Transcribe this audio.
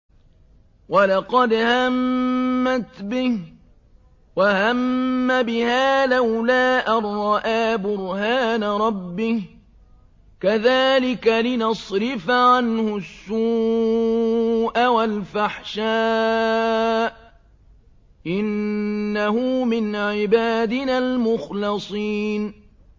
وَلَقَدْ هَمَّتْ بِهِ ۖ وَهَمَّ بِهَا لَوْلَا أَن رَّأَىٰ بُرْهَانَ رَبِّهِ ۚ كَذَٰلِكَ لِنَصْرِفَ عَنْهُ السُّوءَ وَالْفَحْشَاءَ ۚ إِنَّهُ مِنْ عِبَادِنَا الْمُخْلَصِينَ